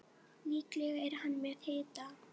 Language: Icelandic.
Líklega er hann með hita.